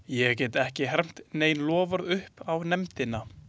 Ég get ekki hermt nein loforð upp á nefndina.